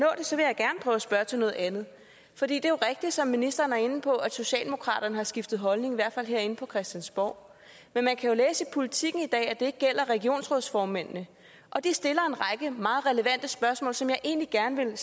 nå at spørge til noget andet for det jo rigtigt som ministeren var inde på at socialdemokraterne har skiftet holdning i hvert fald herinde på christiansborg men man kan jo læse i politiken i dag at det ikke gælder regionsrådsformændene og de stiller en række meget relevante spørgsmål som jeg egentlig gerne vil